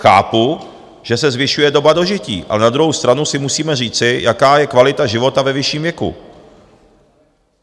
Chápu, že se zvyšuje doba dožití, ale na druhou stranu si musíme říci, jaká je kvalita života ve vyšším věku.